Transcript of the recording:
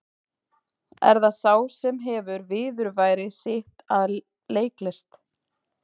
Er það sá sem hefur viðurværi sitt af leiklist?